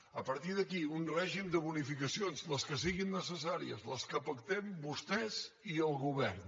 a partir d’aquí un règim de bonificacions les que siguin necessàries les que pactem vostès i el govern